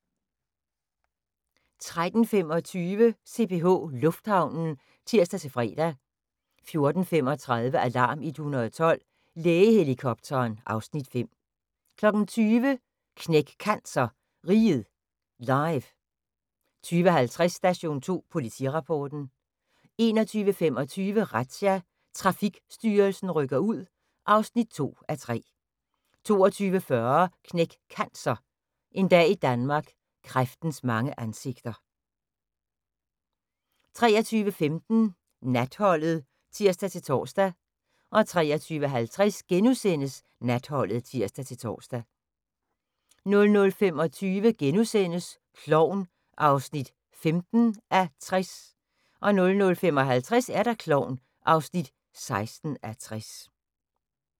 13:25: CPH Lufthavnen (tir-fre) 14:35: Alarm 112 – Lægehelikopteren (Afs. 5) 20:00: Knæk Cancer: Riget Live 20:50: Station 2 Politirapporten 21:25: Razzia – Trafikstyrelsen rykker ud (2:3) 22:40: Knæk Cancer: En dag i Danmark – kræftens mange ansigter 23:15: Natholdet (tir-tor) 23:50: Natholdet *(tir-tor) 00:25: Klovn (15:60)* 00:55: Klovn (16:60)